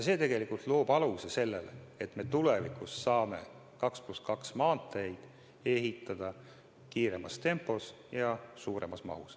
See loob aluse sellele, et me tulevikus saame 2 + 2 maanteid ehitada kiiremas tempos ja suuremas mahus.